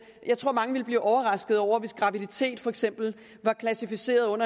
jeg tror mange vil blive overraskede over hvis graviditet for eksempel var klassificeret